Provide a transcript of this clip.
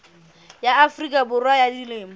ya afrika borwa ba dilemo